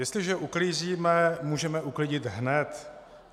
Jestliže uklízíme, můžeme uklidit hned.